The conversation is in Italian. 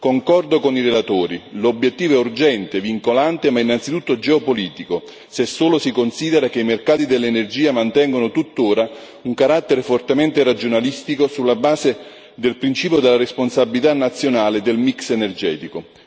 Concordo con i relatori l'obiettivo è urgente, vincolante, ma innanzitutto geopolitico, se solo si considera che i mercati dell'energia mantengono tuttora un carattere fortemente regionalistico, sulla base del principio della responsabilità nazionale del mix energetico.